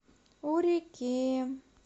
у реки